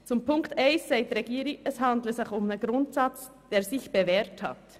Zu Punkt 1 sagt die Regierung, es handle sich um einen Grundsatz, der sich bewährt habe.